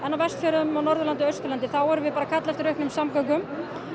á Vestfjörðum og Norðurlandi og Austurlandi erum við að kalla eftir auknum samgöngum